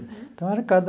Então, era cada...